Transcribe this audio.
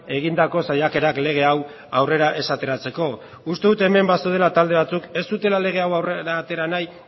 egindako saiakerak lege hau aurrera ez ateratzeko uste dut hemen bazeudela talde batzuk ez zutela lege hau aurrera atera nahi